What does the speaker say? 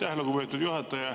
Aitäh, lugupeetud juhataja!